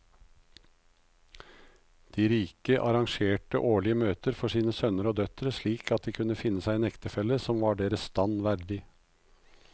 De rike arrangerte årlige møter for sine sønner og døtre slik at de kunne finne seg en ektefelle som var deres stand verdig.